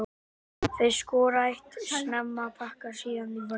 Þeir skora eitt snemma og pakka síðan í vörn.